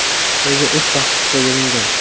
Reja uch bosqichga bo‘lingan.